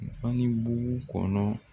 Fani bugu kɔnɔ